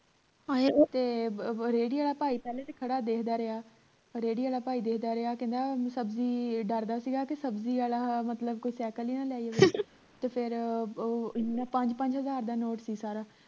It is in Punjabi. ਆਹ ਤੇ ਰਿਹੜੀ ਆਲਾ ਭਾਈ ਪਹਿਲਾਂ ਤਾਂ ਖੜਾ ਦੇਖਦਾ ਰਿਹਾ ਰਿਹੜੀ ਆਲਾ ਭਾਈ ਦੇਖਦਾ ਰਿਹਾ ਕਹਿੰਦਾ ਸਬਜ਼ੀ ਡਰਦਾ ਸੀ ਗਾ ਕੇ ਸਬਜ਼ੀ ਆਲਾ ਮਤਲਬ ਕੋਈ ਸਾਈਕਲ ਹੀ ਨਾ ਲੈ ਜੇ ਤੇ ਫੇਰ ਉਹ ਪੰਜ ਪੰਜ ਹਜਾਰ ਦਾ ਨੋਟ ਸੀ ਸਾਰਾ